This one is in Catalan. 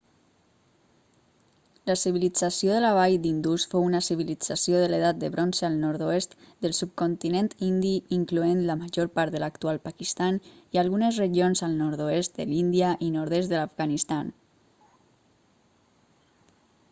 la civilització de la vall d'indus fou una civilització de l'edat de bronze al nord-oest del subcontinent indi incloent la major part de l'actual pakistan i algunes regions al nord-oest de l'índia i nord-est de l'afganistan